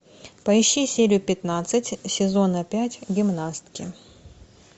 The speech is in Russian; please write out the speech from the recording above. поищи серию пятнадцать сезона пять гимнастки